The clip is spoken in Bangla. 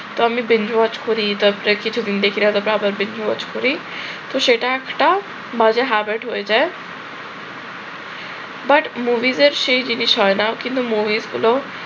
তো অনেকদিন watch করি আবার watch করি তো সেটা একটা মজার habit হয়ে যায়। but movies এর সেই জিনিস হয় না কিন্তু movies গুলো